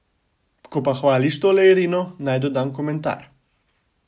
Ko pa hvališ tole Irino, naj dodam komentar.